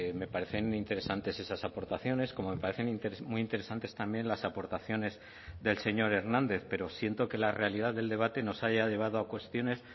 me parecen interesantes esas aportaciones como me parecen muy interesantes también las aportaciones del señor hernández pero siento que la realidad del debate nos haya llevado a cuestiones